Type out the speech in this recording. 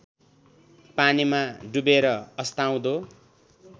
पानीमा डुवेर अस्ताउँदो